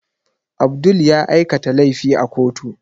Abdul ya aikata laifi a kotu